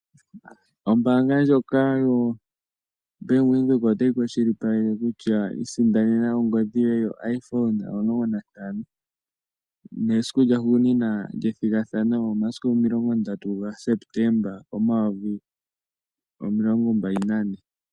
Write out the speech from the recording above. Ombaanga ndjoka yoBank Windhoek otayi kwashilipaleke kutya, isindanena ongodhi yoye yoIphone 15, nesiku lyahugunina lyethigathano omasiku 30 gaSepetemba 2024.